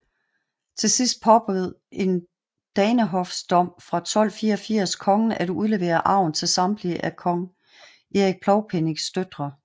Til sidst påbød en danehofsdom fra 1284 kongen at udlevere arven til samtlige af kong Erik Plovpennings døtre